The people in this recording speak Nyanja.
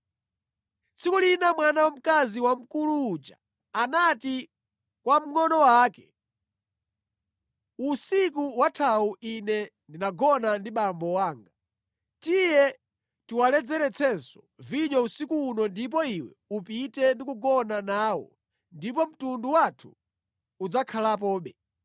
Tsiku linali mwana wamkazi wamkulu uja anati kwa mngʼono wake, “Usiku wathawu ine ndinagona ndi abambo anga. Tiye tiwaledzeretsenso vinyo usiku uno ndipo iwe upite ndi kugona nawo ndipo mtundu wathu udzakhalapobe.”